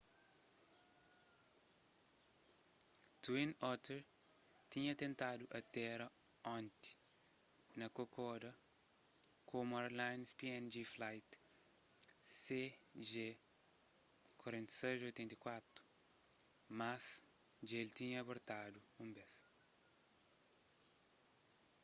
twin otter tinha tentadu atéra onti na kokoda komu airlines png flight cg4684 mas dja el tinha abortadu un bes